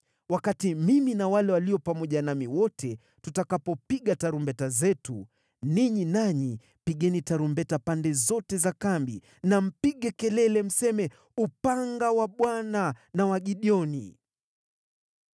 Wakati mimi na wale walio pamoja nami wote, tutakapopiga tarumbeta zetu, ninyi nanyi pigeni tarumbeta pande zote za kambi na mpige kelele, mseme, ‘Upanga wa Bwana na wa Gideoni.’ ”